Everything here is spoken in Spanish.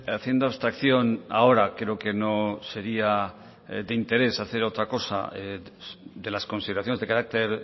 haciendo abstracción ahora creo que no sería de interés hacer otra cosa de las consideraciones de carácter